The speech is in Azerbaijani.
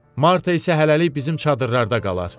Marta isə hələlik bizim çadırlarda qalar.